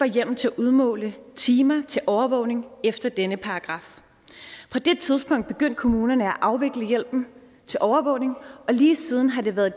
hjemmel til at udmåle timer til overvågning efter denne paragraf på det tidspunkt begyndte kommunerne at afvikle hjælpen til overvågning og lige siden har det været